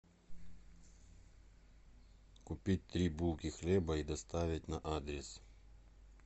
купить три булки хлеба и доставить на адрес